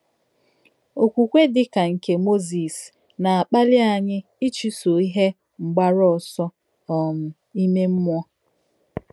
Òkwùkwè dì kà nké Mòzìs nà-àkpàlì ányị̀ íchùsọ ìhè mgbárù òsọ̀ um ìmè mmúọ.